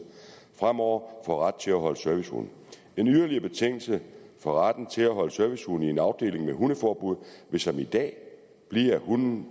fremover får ret til at holde servicehund en yderligere betingelse for retten til at holde servicehund i en afdeling med hundeforbud vil som i dag blive at hunden